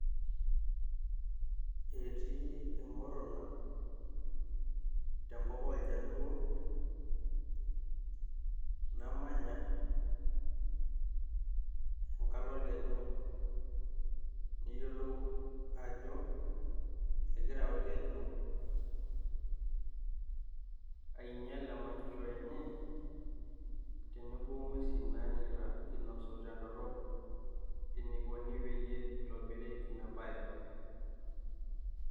Etii emuruna tenkop oljaluo namanya, enkalo olkeju niyiolou ajoo egira okeju ainyal emanyisho enye tenebo ing'uesi nanyikita tendorop enikone pee eitobiri inabae